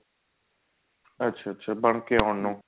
ਅੱਛਾ ਅੱਛਾ ਬਣ ਕੇ ਆਉਣ ਨੂੰ